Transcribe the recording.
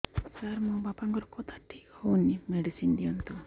ସାର ମୋର ବାପାଙ୍କର କଥା ଠିକ ହଉନି ମେଡିସିନ ଦିଅନ୍ତୁ